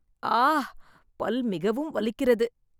ஆ! பல் மிகவும் வலிக்கிறது